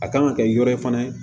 A kan ka kɛ yɔrɔ in fana ye